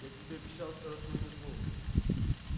я тебе обещал скоростную метлу